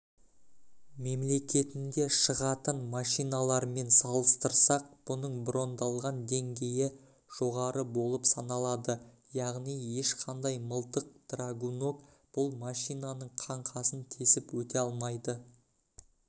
мемлекетінде шығатын машиналармен салыстырсақ бұның броньдалған деңгейі жоғары болып саналады яғни ешқандай мылтық драгунок бұл машинаның қаңқасын тесіп өте алмайды